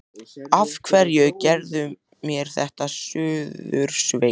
Af hverju gerirðu mér þetta, Suðursveit!